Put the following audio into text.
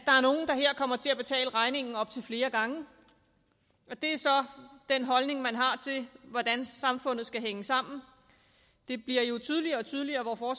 kommer til at betale regningen op til flere gange og det er så den holdning man har til hvordan samfundet skal hænge sammen det bliver jo tydeligere og tydeligere hvor